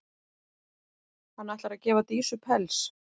Hann ætlar að gefa Dísu pels.